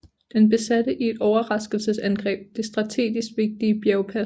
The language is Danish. Den besatte i et overraskelsesangreb det strategisk vigtige bjergpas